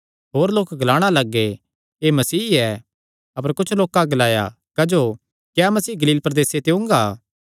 होर लोक ग्लाणा लग्गे एह़ मसीह ऐ अपर कुच्छ लोकां ग्लाया क्जो क्या मसीह गलील प्रदेसे ते ओंगा